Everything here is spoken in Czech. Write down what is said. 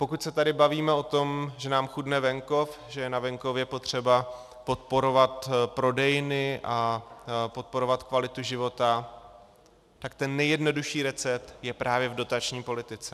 Pokud se tady bavíme o tom, že nám chudne venkov, že je na venkově potřeba podporovat prodejny a podporovat kvalitu života, tak ten nejjednodušší recept je právě v dotační politice.